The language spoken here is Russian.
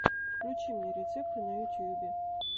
включи мне рецепты на ютюбе